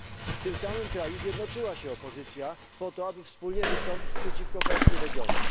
W tym samym kraju zjednoczyła się opozycja po to, aby wspólnie wystąpić przeciwko Partii Regionów.